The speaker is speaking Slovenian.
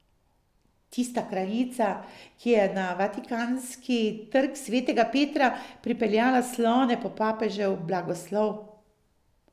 Tista kraljica, ki je na vatikanski Trg svetega Petra pripeljala slone po papežev blagoslov.